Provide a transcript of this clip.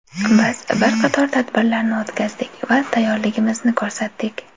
Biz bir qator tadbirlarni o‘tkazdik va tayyorligimizni ko‘rsatdik.